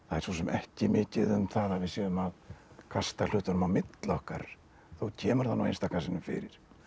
svo sem ekki mikið um það að við séum að kasta hlutunum á milli okkar þó kemur það nú einstaka sinnum fyrir